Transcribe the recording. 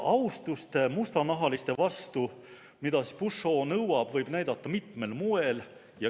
Austust mustanahaliste vastu, mida Pushaw nõuab, võib näidata mitmel moel.